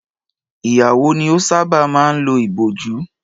Ìyàwó ni ọ sábà máa ń lo ìbòjú